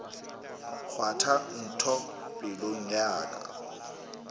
kgwatha ntho pelong ya ka